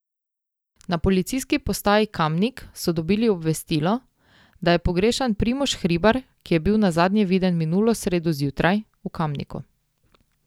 Na Policijski postaji Kamnik so dobili obvestilo, da je pogrešan Primož Hribar, ki je bil nazadnje viden minulo sredo zjutraj, v Kamniku.